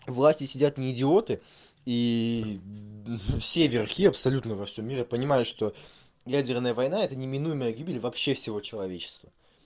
власти сидят не идиоты и все верхи абсолютно во всём мире я понимаю что ядерная война это неминуемая гибель вообще всего человечества